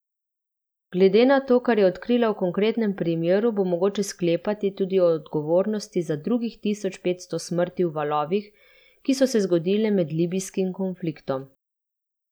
Glede na to, kar je odkrila v konkretnem primeru, bo mogoče sklepati tudi o odgovornosti za drugih tisoč petsto smrti v valovih, ki so se zgodile med libijskim konfliktom.